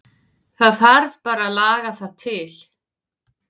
Það þarf bara að laga það til.